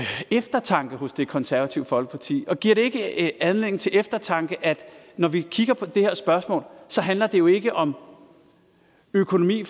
eftertanke hos det konservative folkeparti giver det ikke anledning til eftertanke at når vi kigger på det her spørgsmål så handler det jo ikke om økonomi